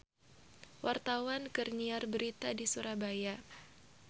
Wartawan keur nyiar berita di Surabaya